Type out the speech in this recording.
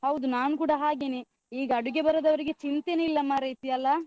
ಹೌದು ನಾನ್ ಕೂಡ ಹಾಗೆನೆ. ಈಗ ಅಡಿಗೆ ಬರದವರಿಗೆ ಚಿಂತೆನೆ ಇಲ್ಲ ಮಾರೈತಿ ಅಲ್ಲಾ?